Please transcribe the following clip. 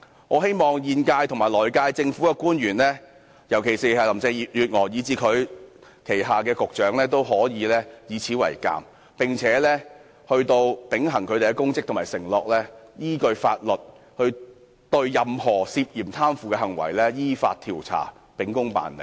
我希望現屆和來屆政府的官員，尤其是林鄭月娥及她旗下的局長，均以此為鑒，秉行他們的公職和承諾，依法調查任何涉嫌貪腐的行為，秉公辦理。